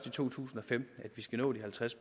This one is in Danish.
i to tusind og femten vi skal nå de halvtreds